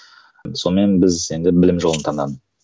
сонымен біз енді білім жолын таңдадым